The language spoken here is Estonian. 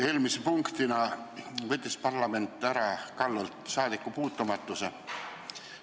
Eelmise punktina võttis parlament täna Kalev Kallolt ära saadikupuutumatuse.